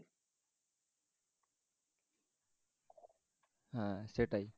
হ্যাঁ সেটাই